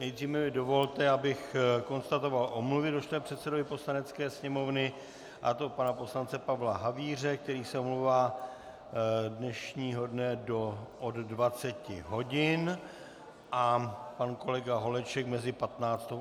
Nejdříve mi dovolte, abych konstatoval omluvy došlé předsedovi Poslanecké sněmovny, a to pana poslance Pavla Havíře, který se omlouvá dnešního dne od 20 hodin, a pan kolega Holeček mezi 15. a 17. hodinou.